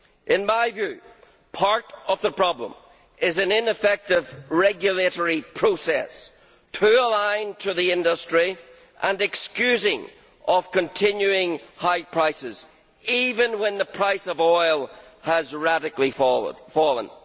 In my view, part of the problem is an ineffective regulatory process that is too aligned to the industry and too excusing of continuing high prices, even when the price of oil has radically fallen.